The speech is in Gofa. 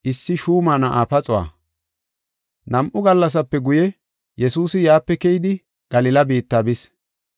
Nam7u gallasape guye, Yesuusi yaape keyidi Galila biitta bis.